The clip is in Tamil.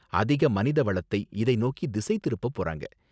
அதிக மனித வளத்தை இதை நோக்கி திசை திருப்பப் போறாங்க.